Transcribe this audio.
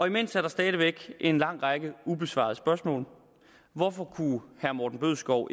imens er der stadig væk en lang række ubesvarede spørgsmål hvorfor kunne herre morten bødskov